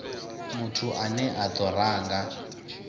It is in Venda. muthu ane a do ranga